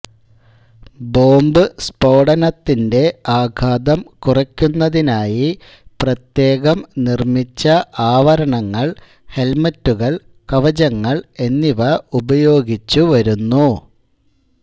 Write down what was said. bomb സ്ഫോടനത്തിന്റെ ആഘാതം കുറയ്ക്കുന്നതിനായി പ്രത്യേകം നിർമ്മിച്ച ആവരണങ്ങൾ ഹെൽമറ്റുകൾ കവചങ്ങൾ എന്നിവ ഉപയോഗിച്ചുവരുന്നു